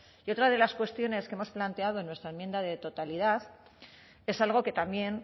y otra de las cuestiones que hemos planteado en nuestra enmienda de totalidad es algo que también